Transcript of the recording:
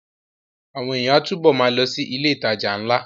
Àwọn èèyàn á túbọ̀ ma lọ sí ilé ìtajà ńlá